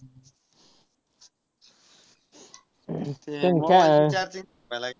ते mobile ची charging